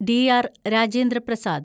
DR. Rajendra Prasad